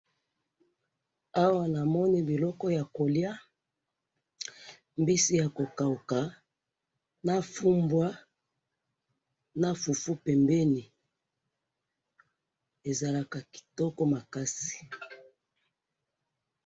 awa na moni biloko yako lia mbisi yako kauka na fumbua na fufu pembeni ezalaka kitoko makasi